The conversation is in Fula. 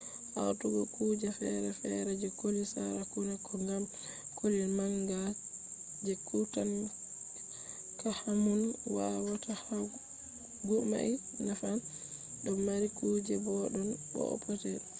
hawtugo kuje fere-fere je koli sarakuna ko gam koli manga je tutankhamun wawata yahugo mai naffan ɗon mari kujeji boɗɗon bo'o petel